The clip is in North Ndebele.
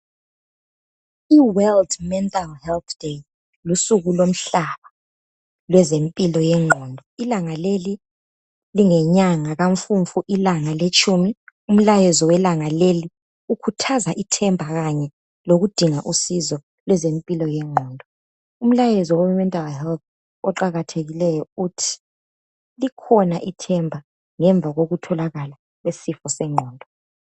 Iworld mental health day lusuku lomhlaba lwezempilo yengqondo. Ilanga leli lingenyanga kamfumfu ilanga letshumi. Umlayezo welanga leli ukhuthaza ithemba kanye lokudinga usizo lwezempilo yengqondo. Umlayezo wemental health oqakathekileyo uthi likhona ithemba ngemva kokuthola isifo sengqondo.